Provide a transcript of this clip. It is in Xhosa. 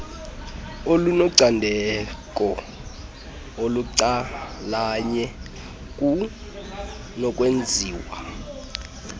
olunocandeko olucalanye kunokwenziwa